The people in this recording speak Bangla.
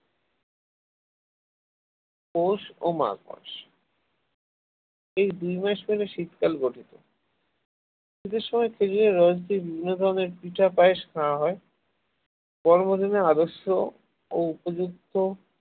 পৌষ ও মাঘ মাস এই দুই মাস মিলে শীতকাল গঠিত শীতের সময় বিভিন্ন ধরনের পিঠা পায়েস খাওয়া হয় কর্মদিনের আদর্শ ও উপযুক্ত